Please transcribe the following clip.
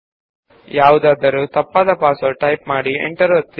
ಅದರಲ್ಲಿ ತಪ್ಪಾದ password ಹಾಕಿ ಎಂಟರ್ ಒತ್ತಿ